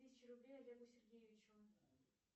тысяча рублей олегу сергеевичу